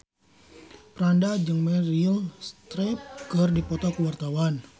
Franda jeung Meryl Streep keur dipoto ku wartawan